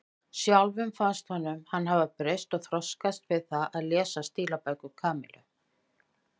Sjálfum fannst honum hann hafa breyst og þroskast við það að lesa stílabækur Kamillu.